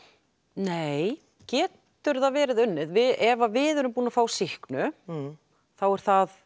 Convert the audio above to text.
nei getur það verið unnið ef við erum búin að fá sýknu þá það